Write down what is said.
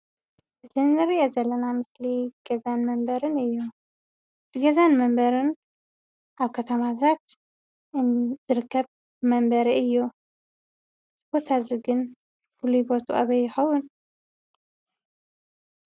እዚ ንሪኦ ዘለና ምስሊ ገዛን መንበርን እዩ ገዛን መንበርን ኣብ ከተማታት ዝርከብ መንበሪ እዩ ።እዚ ቦታ እዚ ግን ፍሉይ ቦትኡ ኣበይ ይከውን ?